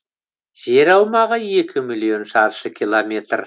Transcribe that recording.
жер аумағы екі миллион шаршы километр